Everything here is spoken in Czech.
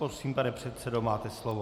Prosím, pane předsedo, máte slovo.